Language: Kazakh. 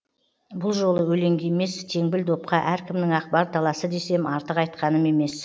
бұл жолы өлеңге емес теңбіл допқа әркімнің ақ бар таласы десем артық айтқаным емес